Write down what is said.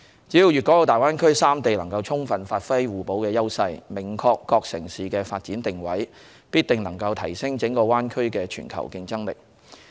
只要大灣區內的粵港澳三地能充分發揮互補優勢，明確各城市的發展定位，必定能提升整個大灣區的全球競爭力。